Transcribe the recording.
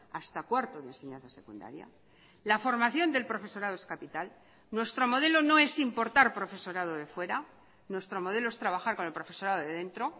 hasta cuarto de enseñanza secundaria la formación del profesorado es capital nuestro modelo no es importar profesorado de fuera nuestro modelo es trabajar con el profesorado de dentro